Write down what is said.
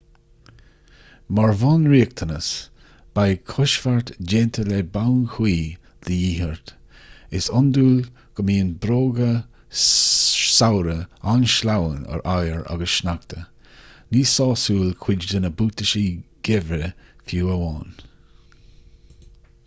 mar bhunriachtanas beidh coisbheart déanta le boinn chuí de dhíth ort is iondúil gó mbíonn bróga samhraidh an-sleamhain ar oighear agus sneachta ní sásúil cuid de na buataisí geimhridh fiú amháin